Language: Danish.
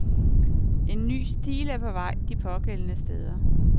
En ny stil er på vej de pågældende steder.